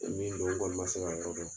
Min don n kɔɔni ma se ka yɔrɔ dɔn